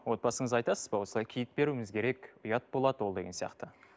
отбасыңызға айтасыз ба осылай киіт беруіміз керек ұят болады ол деген сияқты